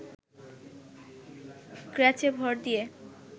ক্র্যাচে ভর দিয়ে